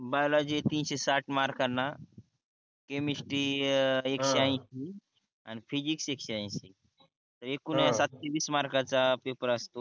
biology तीनशे साठ मार्कणा केमिस्ट्री अं एकशे अनशी आणि फिजिक्स एकशे अनशी एकूण सातसे वीस मार्कचा पेपर असतो